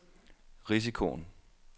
risikoen